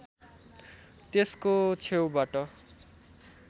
त्यसको छेउबाट